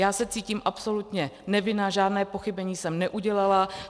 Já se cítím absolutně nevinna, žádné pochybení jsem neudělala.